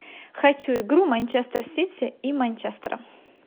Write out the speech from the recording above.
хочу игру манчестер сити и манчестера